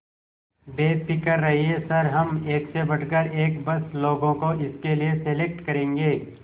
बेफिक्र रहिए सर हम एक से बढ़कर एक बस लोगों को इसके लिए सेलेक्ट करेंगे